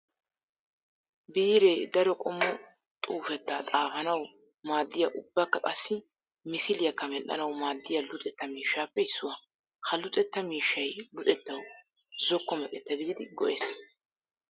Biire daro qommo xuufetta xaafanawu maadiya ubbakka qassi misiliyakka medhdhanawu maadiya luxetta miishshappe issuwa. Ha luxetta miishshay luxettawu zokko meqetta gididdi go'ees.